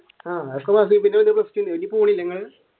അതൊക്കെ മതി